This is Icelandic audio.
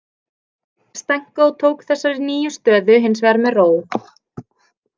Stenko tók þessari nýju stöðu hins vegar með ró.